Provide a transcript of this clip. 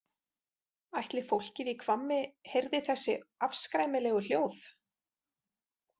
Ætli fólkið í Hvammi heyrði þessi afskræmilegu hljóð?